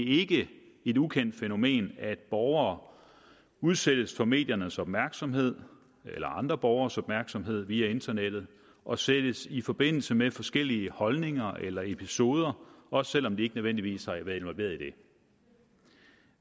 ikke et ukendt fænomen at borgere udsættes for mediernes opmærksomhed eller andre borgeres opmærksomhed via internettet og sættes i forbindelse med forskellige holdninger eller episoder også selv om de ikke nødvendigvis har været involveret i dem